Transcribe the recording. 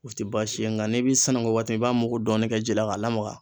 O ti baasi ye nga n'i bi sɛnɛgoo waati mi i b'a mugu dɔɔnin kɛ ji la k'a lamaga